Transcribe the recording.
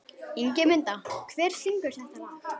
Ingimunda, hver syngur þetta lag?